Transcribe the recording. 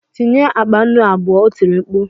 Tinye akpa nnu abụọ! O tiri mkpu.